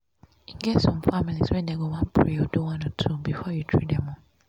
e get families wey be say them go one pray or do one or two um before you treat them. um